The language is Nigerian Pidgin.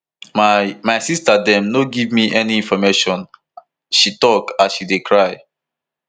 my my sister dem no dey give me any information she tok as she dey cry